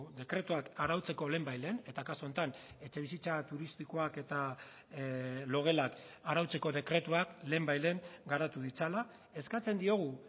dekretuak arautzeko lehenbailehen eta kasu honetan etxebizitza turistikoak eta logelak arautzeko dekretuak lehenbailehen garatu ditzala eskatzen diogu